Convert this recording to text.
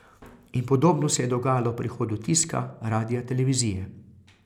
In podobno se je dogajalo ob prihodu tiska, radia, televizije ...